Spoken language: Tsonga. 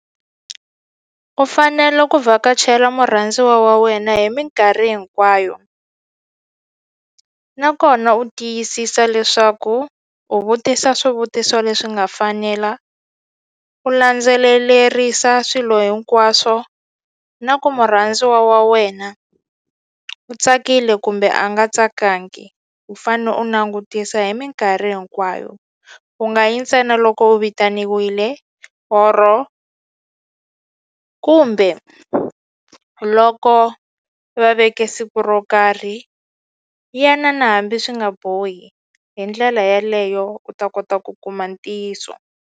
U fanele ku vhakachela murhandziwa wa wena hi minkarhi hinkwayo nakona u tiyisisa leswaku u vutisa swivutiso leswi nga fanela u landzelelerisa swilo hinkwaswo na ku murhandziwa wa wena u tsakile kumbe a nga tsakangi u fane u langutisa hi minkarhi hinkwayo u nga yi ntsena loko u vitaniwile or-o kumbe loko va veke siku ro karhi ya na na hambi swi nga bohi hi ndlela yaleyo u ta kota ku kuma ntiyiso.